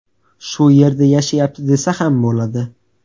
Shu yerda yashayapti desa ham bo‘ladi.